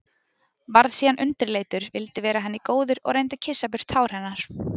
Varð síðan undirleitur, vildi vera henni góður og reyndi að kyssa burt tár hennar.